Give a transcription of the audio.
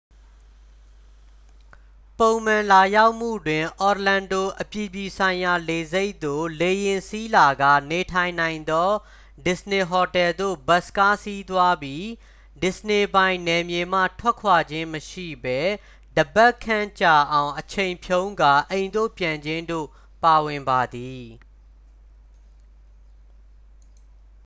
"""ပုံမှန်" လာရောက်မှုတွင် orlando အပြည်ပြည်ဆိုင်ရာလေဆိပ်သို့ လေယာဉ်စီးလာကာ နေထိုင်နိုင်သော disney ဟိုတယ်သို့ ဘတ်စ်ကားစီးသွားပြီး disney ပိုင် နယ်မြေမှ ထွက်ခွာခြင်းမရှိဘဲ တစ်ပတ်ခန့်ကြာအောင်အချိန်ဖြုန်းကာ အိမ်သို့ပြန်ခြင်းတို့ ပါဝင်ပါသည်။